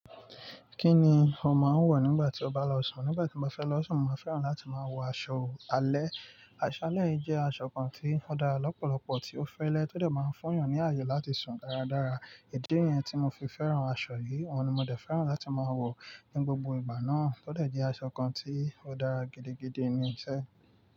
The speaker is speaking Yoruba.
Kí ni ò máa ń wọ̀ nígbà tí o bá lọ sùn? Nígbà tí mo fẹ́ lọ sùn, mo fẹ́ran láti máa wọ aṣọ alẹ́. Aṣọ alẹ́ jẹ́ aṣọ kan tí ó dára lọ́pọ̀lọpọ̀, tí ó fẹ́lẹ́, tọdẹ máa ń fún èèyàn ní àyè láti sùn dáradára. Idi niyẹn tí mo fi fẹ́ran aṣọ yìí, òun ni mo dẹ̀ fẹ́ran láti máa wọ̀ ní gbogbo ìgbà náà. Tọdẹ jẹ́ aṣọ kan tí ó dára gidigidi ni iṣẹ́